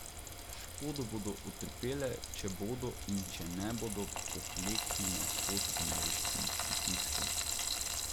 Škodo bodo utrpele, če bodo in če ne bodo pokleknile pod ameriškim pritiskom.